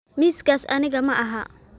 Miiskaas aniga ma aha.